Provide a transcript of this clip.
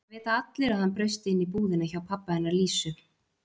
Það vita allir að hann braust inn í búðina hjá pabba hennar Lísu.